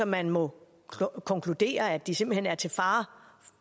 man må konkludere at de simpelt hen er til fare